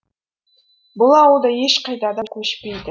бұл ауыл ешқайда да көшпейді